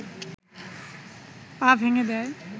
পা ভেঙে দেয়